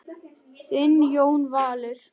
Þinn Jón Valur.